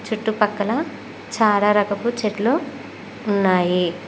చుట్టుపక్కల చాలా రకపు చెట్లు ఉన్నాయి.